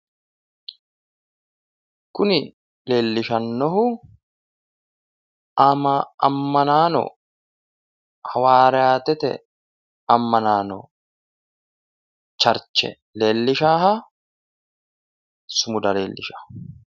Kuni doogote raga leellishara horonsi'noonnihu tene baseta Maga'note mini koni masimari widooni noo yine xawisate horonsi'noonni masimarati